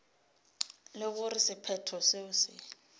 le gore sephetho seo se